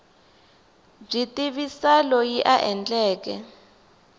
byi tivisa loyi a endleke